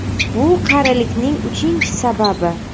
Bu qarilikning uchinchi sababi.